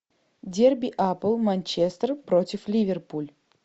дерби апл манчестер против ливерпуль